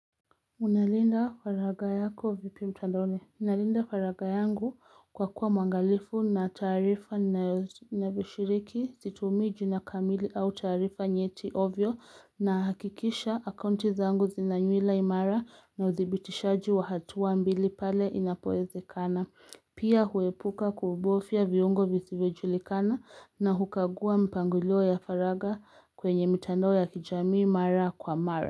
Unalinda faragha yako vipi mtandaoni, unalinda faragha yangu kwa kuwa mwangalifu na taarifa navishiriki, situmii jina kamili au tasrifa nyeti ovyo nahakikisha akaunti zangu zina nywila imara na udhibitishaji wa hatua mbili pale inapowezekana. Pia huepuka kubofya viungo visivyojulikana na hukagua mpangilio ya faragha kwenye mitandao ya kijamii mara kwa mara.